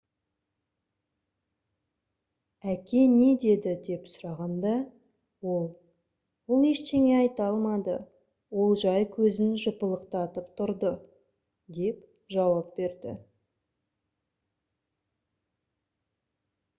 әке не деді деп сұрағанда ол «ол ештеңе айта алмады — ол жай көзін жыпылықтатып тұрды» - деп жауап берді